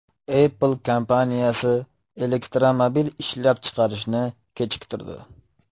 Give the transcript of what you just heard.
Apple kompaniyasi elektromobil ishlab chiqarishni kechiktirdi.